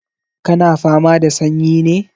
Ka na fama da sanyi ne?